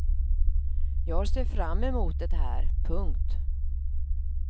Jag ser fram emot det här. punkt